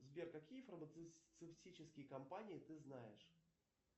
сбер какие фармацевтические компании ты знаешь